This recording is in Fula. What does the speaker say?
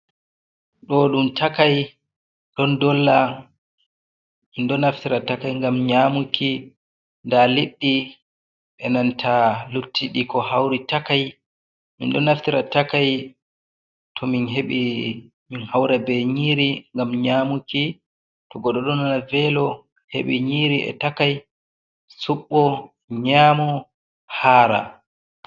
Ɗo Ɗum Takai, Ɗon Ɗolla Min Ɗo Naftira Takai Gam Nyamuki, Ɗa Liɗɗi E' Nanta Luttuɗi Ko Hauri Takai. Min Ɗonaftira Takai To Min Heɓi Min Haura Ɓe Nyiri Ngam Nyamuki To Goɗɗo Ɗon Nana Velo Heɓi Nyiri Takai Suɓɓo Nyamo Hara.